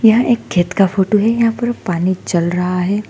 यह एक खेत का फोटो है यहां पर पानी चल रहा है।